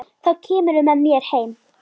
Þá kemurðu með mér heim.